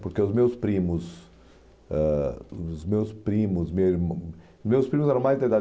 Porque os meus primos ãh os meus primos mesmo, meus primos eram mais da idade